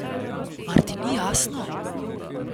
Mar ti ni jasno?